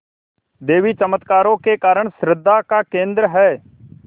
देवी चमत्कारों के कारण श्रद्धा का केन्द्र है